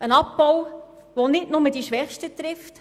Es ist ein Abbau, der nicht nur die Schwächsten trifft: